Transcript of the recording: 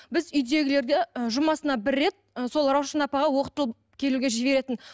біз үйдегілерді ы жұмасына бір рет сол раушан апаға оқытылып келуге жіберетін